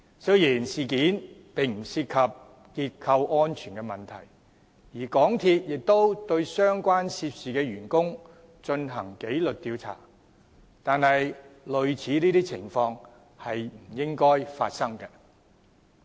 雖然事件不涉結構安全問題，而港鐵公司亦對相關的涉事員工進行紀律調查，但類似的情況是不應發生的。